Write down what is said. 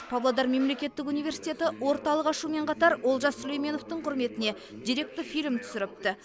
павлодар мемлекеттік университеті орталық ашумен қатар олжас сүлейменовтің құрметіне деректі фильм түсіріпті